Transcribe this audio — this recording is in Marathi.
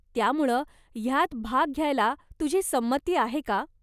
त्यामुळं, ह्यात भाग घ्यायला तुझी संमती आहे का?